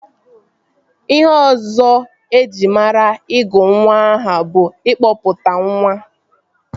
Ihe ọzọ eji mara ịgụ nwa aha bụ ịkụpụtanwa